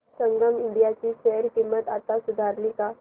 संगम India ची share किंमत आता सुधारली का